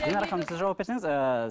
динара ханым сіз жауап берсеңіз ыыы